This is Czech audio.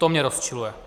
To mě rozčiluje.